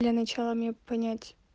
для начала мне понять